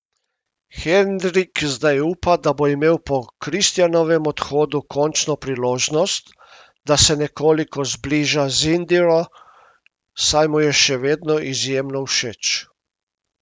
Henrik zdaj upa, da bo imel po Kristjanovem odhodu končno priložnost, da se nekoliko zbliža z Indiro, saj mu je še vedno izjemno všeč.